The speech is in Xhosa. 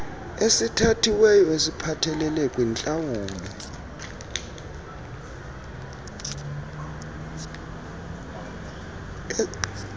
esithathiweyo esiphathelele kwintlawulo